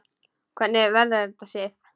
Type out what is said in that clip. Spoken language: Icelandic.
Hvernig verður þetta, Sif?